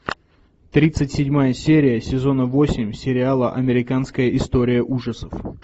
тридцать седьмая серия сезона восемь сериала американская история ужасов